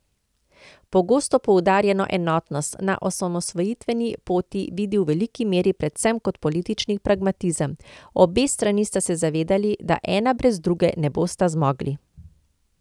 Pogosto poudarjeno enotnost na osamosvojitveni poti vidi v veliki meri predvsem kot politični pragmatizem: 'Obe strani sta se zavedali, da ena brez druge ne bosta zmogli.